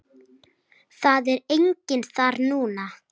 Það er enginn þar núna.